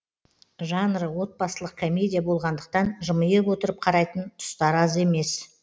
жанры отбасылық комедия болғандықтан жымиып отырып қарайтын тұстар аз емес